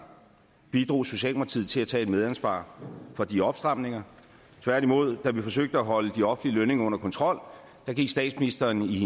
bidrog socialdemokratiet til at tage et medansvar for de opstramninger tværtimod da vi forsøgte at holde de offentlige lønninger under kontrol gik statsministeren i